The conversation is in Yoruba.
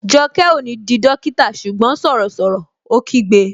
Jọkẹ́ ó ní di dókítà ṣùgbọ́n sọ̀rọ̀ sọ̀rọ̀! Ó kígbe